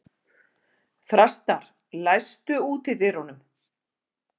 Þrastar, læstu útidyrunum.